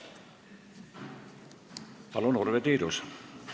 Palun, Urve Tiidus!